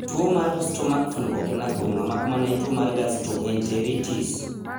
To tuwo mar stomach flu ok en athung'a mak mana tuwo mar gastroenteritis.